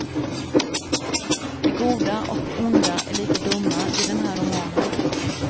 De goda och de onda är lika dumma i den här romanen.